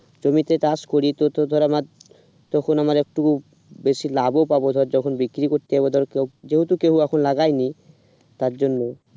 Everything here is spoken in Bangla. জমিতে চাষ করি তো ধর আমার তখন আমার আর টুকু বেশি লাভও পাব আর যখন বিক্রি করতে যাবো ধর যেহেতু কেউ এখন লাগায়নি তার জন্য